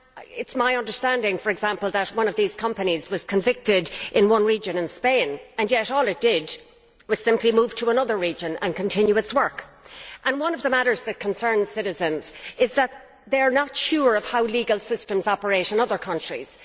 It is my understanding, for example, that one of these companies was convicted in one region of Spain, and yet all it did was simply move to another region and continue its work. One of the matters that concerns citizens is that they are not sure of how legal systems operate in other countries.